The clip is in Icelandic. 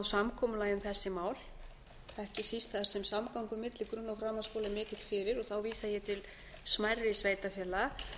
samkomulagi um þessi mál ekki síst þar sem samgangur milli grunn og framhaldsskóla er mikill fyrir og þá vísa ég